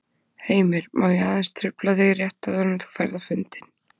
Heimir: Má ég aðeins trufla þig rétt áður en þú ferð á fundinn?